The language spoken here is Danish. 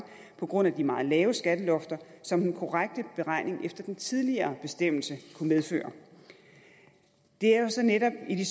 på grund af de meget lave skattelofter som den korrekte beregning efter den tidligere bestemmelse kunne medføre det er netop i de